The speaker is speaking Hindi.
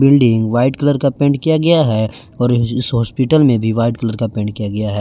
बिल्डिंग व्हाईट कलर का पेंट किया गया हैं और इस हॉस्पिटल में भी व्हाईट कलर का पेंट किया गया हैं।